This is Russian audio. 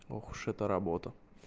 ох уж эта работа